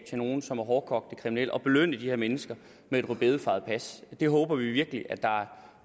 til nogle som er hårdekogte kriminelle og belønne de her mennesker med et rødbedefarvet pas det håber vi virkelig at der